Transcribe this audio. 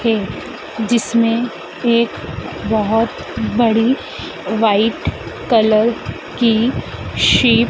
है जिसमे एक बहुत बड़ी व्हाइट कलर की शिप --